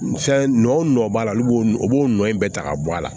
Fɛn nɔ o nɔ b'a la olu b'o o b'o nɔ in bɛɛ ta ka bɔ a la